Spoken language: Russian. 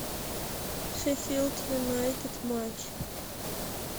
шеффилд юнайтед матч